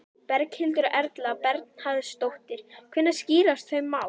Berghildur Erla Bernharðsdóttir: Hvenær skýrast þau mál?